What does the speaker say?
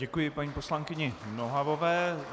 Děkuji paní poslankyni Nohavové.